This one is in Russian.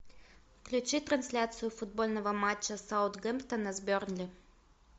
включи трансляцию футбольного матча саутгемптона с бернли